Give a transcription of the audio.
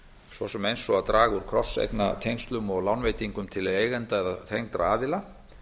svo sem eins og að draga úr krosseignatengslum og lánveitingum til eigenda eða tengdra aðila